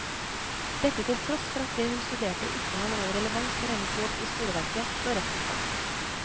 Dette til tross for at det hun studerte, ikke har noen relevans for hennes jobb i skoleverket, slår retten fast.